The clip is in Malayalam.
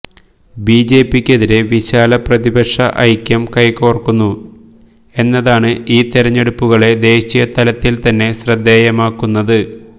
ബിജെപിക്കെതിരെ വിശാല പ്രതിപക്ഷഐക്യം കൈകോർക്കുന്നു എന്നതാണ് ഈ തെരഞ്ഞെടുപ്പുകളെ ദേശീയതലത്തിൽ തന്നെ ശ്രദ്ധേയമാക്കുന്നത്